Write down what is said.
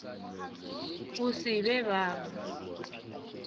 go se be ba ba